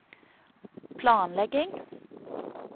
planlegging